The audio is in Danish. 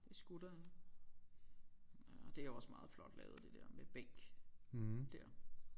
Det skulle der ja nåh det er også meget flot lavet det der med bænk der